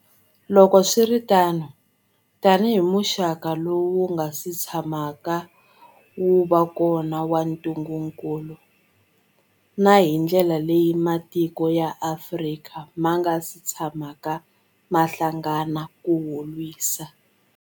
Loko swi ri tano, tanihi muxaka lowu wu nga si tshamaka wu va kona wa ntungukulu, na hi ndlela leyi matiko ya Afrika ma nga si tshamaka ma hlangana ku wu lwisa.